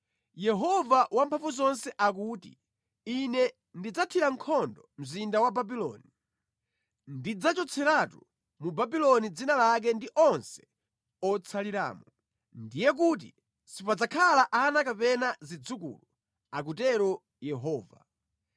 Yehova Wamphamvuzonse akuti, “Ine ndidzathira nkhondo mzinda wa Babuloni. Ndidzachotseratu mu Babuloni dzina lake ndi onse otsaliramo. Ndiye kuti sipadzakhala ana kapena zidzukulu,” akutero Yehova.